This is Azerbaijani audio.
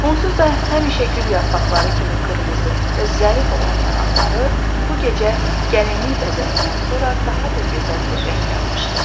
Onsuz da həmişə gül yarpaqları kimi qırmızı və zərif olan yanaqları bu gecə gəlinlik bəzəyindən sonra daha da gözəl bir rəng almışdı.